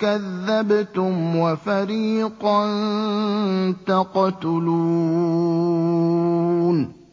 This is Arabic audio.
كَذَّبْتُمْ وَفَرِيقًا تَقْتُلُونَ